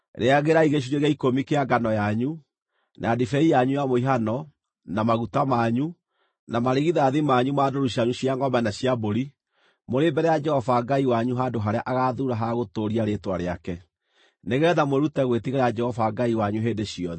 Rĩagĩrai gĩcunjĩ gĩa ikũmi kĩa ngano yanyu, na ndibei yanyu ya mũhihano, na maguta manyu, na marigithathi manyu ma ndũũru cianyu cia ngʼombe na cia mbũri mbere ya Jehova Ngai wanyu mũrĩ handũ harĩa agaathuura ha gũtũũria Rĩĩtwa rĩake, nĩgeetha mwĩrute gwĩtigĩra Jehova Ngai wanyu hĩndĩ ciothe.